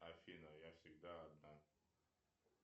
афина я всегда одна